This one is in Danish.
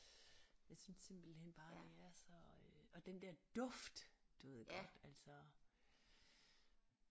Jeg synes simpelthen bare det er så øh og den der duft du ved godt altså